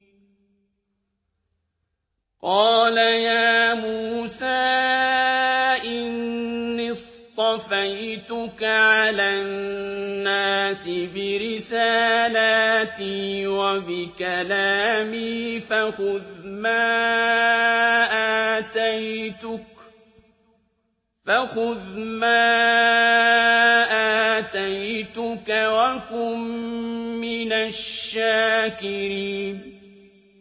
قَالَ يَا مُوسَىٰ إِنِّي اصْطَفَيْتُكَ عَلَى النَّاسِ بِرِسَالَاتِي وَبِكَلَامِي فَخُذْ مَا آتَيْتُكَ وَكُن مِّنَ الشَّاكِرِينَ